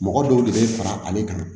Mɔgɔ dɔw de bɛ fara ale kan